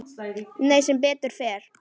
Nei, sem betur fer.